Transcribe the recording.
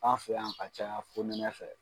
An fɛ yan ka caya fonɛnɛ fɛ.